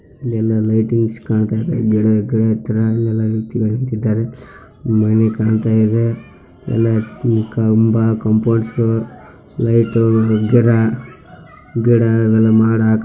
ಇಲ್ಲಿ ಲೈಟಿಂಗ್ಸ್‌ ಕಾಣ್ತಾ ಇದೆ ಗಿಡ ಗಿಡ ಗಿಡ ಮನೆ ಕಾಣ್ತಾ ಇದೆ ಎಲ್ಲಾ ಕಂಬ ಕಾಪೌಂಡ್ಸ್‌ಗಳು ಲೈಟು ಗಿಡ ಗಿಡ ಮರ.